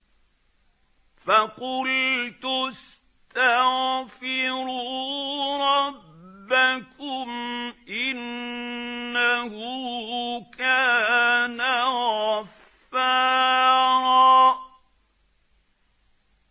فَقُلْتُ اسْتَغْفِرُوا رَبَّكُمْ إِنَّهُ كَانَ غَفَّارًا